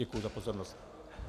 Děkuji za pozornost.